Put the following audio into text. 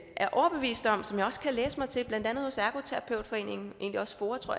er overbevist om og som jeg også kan læse mig til blandt andet hos ergoterapeutforeningen og egentlig også foa tror